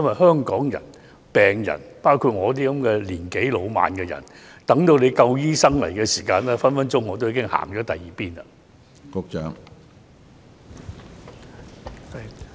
香港的病人，包括像我這樣年紀老邁的人，如要等到有足夠醫生提供服務，可能已經來不及。